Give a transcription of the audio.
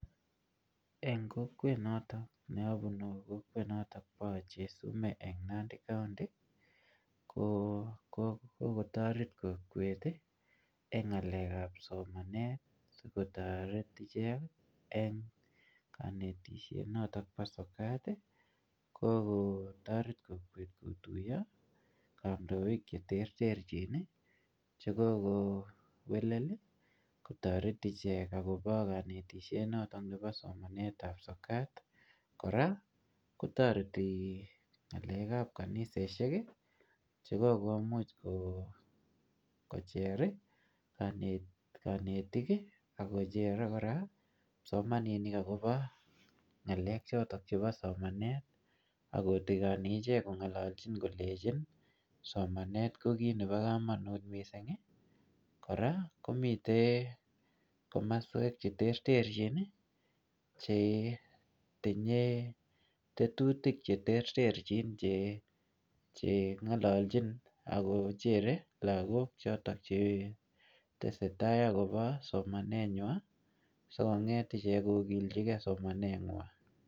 En kokwet noton abunu ko kokwet noton bo archer sumek en nandi kaonti ko kotoret kokwet en ngalek ab somanet sikotoret ichek en kanetisiet noto bo sokat ko kotoret kokwet kotuyo kandoik che tertergin cheko kowekel kotoret ichek akobo kanetisiet noto bo somanet ab sokat kora kotoreti ngalek ab kanisosiek chekokomuch kocher kanetik ak kochere kora kipsomaninik kora akobo ngalek choto bo somanet ak kotigoni ichek ak kongolalgin somanet ko kit nebo kamanut missing kora komiten komasuek che tertergin chetinye teturik che tertergin che ngalalgin ak ko chere lakok choto chetesetai akobo somanet nywan asikonget kogilji kee somanet nywan